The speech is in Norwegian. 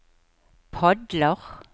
padler